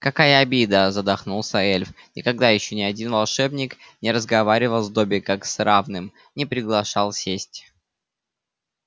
какая обида задохнулся эльф никогда ещё ни один волшебник не разговаривал с добби как с равным не приглашал сесть